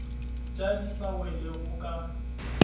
ja di sa welego ka